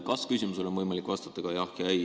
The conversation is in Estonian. Kas-küsimusele on võimalik vastata ka jah või ei.